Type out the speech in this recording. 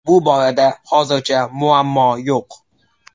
Bu borada hozircha muammo yo‘q.